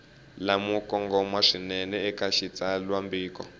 lamo kongoma swinene eka xitsalwambiko